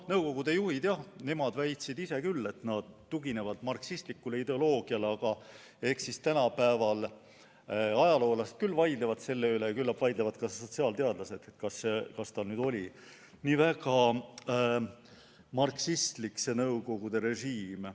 Nõukogude juhid, jah, ise väitsid küll, et nad tuginevad marksistlikule ideoloogiale, aga tänapäeva ajaloolased vaidlevad selle üle ja küllap vaidlevad ka sotsiaalteadlased, kas nõukogude režiim oli ikka nii väga marksistlik.